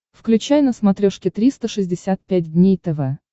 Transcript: включай на смотрешке триста шестьдесят пять дней тв